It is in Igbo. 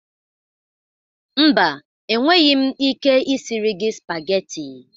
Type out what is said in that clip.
Mba, enweghị m ike isiri gị spageti.